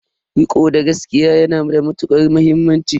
Riko da gaskiya ya na da matuƙar muhimmanci.